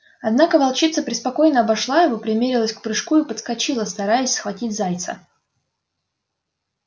однако волчица преспокойно обошла его примерилась к прыжку и подскочила стараясь схватить зайца